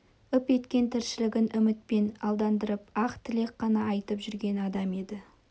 үп еткен тіршілігін үмітпен алдандырып ақ тілек қана айтып жүрген адам еді